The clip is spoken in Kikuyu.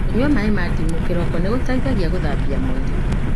Kũnyua maĩ ma ndimũ kĩroko nĩ gũteithagia gũthambia mwĩrĩ.